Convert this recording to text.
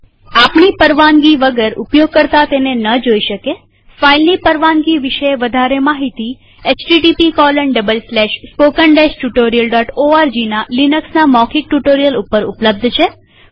આપણી પરવાનગી વગર ઉપયોગકર્તા તેને જોઈ ન શકેફાઈલની પરવાનગી વિષે વધારે માહિતી httpspoken tutorialorgના લિનક્સના મૌખિક ટ્યુ્ટોરીઅલ ઉપર ઉપલબ્ધ છે